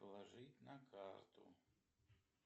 положить на карту